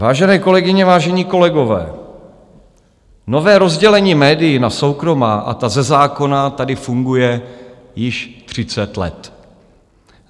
Vážené kolegyně, vážení kolegové, nové rozdělení médií na soukromá a ta ze zákona tady funguje již 30 let.